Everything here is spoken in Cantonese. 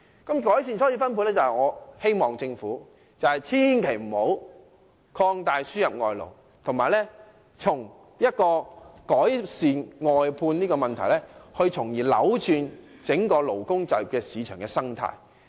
在改善初次分配方面，我促請政府千萬不要擴大輸入外勞，而應改善外判問題，從而扭轉整個勞工就業市場的生態。